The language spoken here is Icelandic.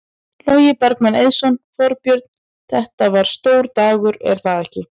Logi Bergmann Eiðsson: Þorbjörn, þetta var stór dagur er það ekki?